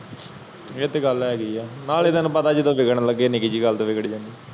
ਇਹ ਤਾ ਗੱਲ ਹੇਗੀ ਆ ਨਾਲੇ ਤੈਨੂੰ ਪਤਾ ਜਦੋ ਵਿਗੜਣ ਲਗੇ ਤੇ ਨਿਕੀ ਜਿਹੀ ਗੱਲ ਤੇ ਵਿਗਾੜ ਜਾਂਦੀ ਏ